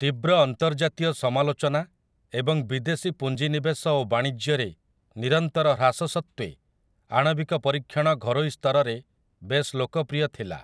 ତୀବ୍ର ଅନ୍ତର୍ଜାତୀୟ ସମାଲୋଚନା ଏବଂ ବିଦେଶୀ ପୁଞ୍ଜି ନିବେଶ ଓ ବାଣିଜ୍ୟରେ ନିରନ୍ତର ହ୍ରାସ ସତ୍ତ୍ୱେ, ଆଣବିକ ପରୀକ୍ଷଣ ଘରୋଇ ସ୍ତରରେ ବେଶ୍ ଲୋକପ୍ରିୟ ଥିଲା ।